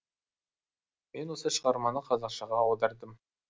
мен осы шығарманы қазақшаға аудардым